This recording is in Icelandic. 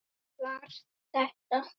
Var þetta.?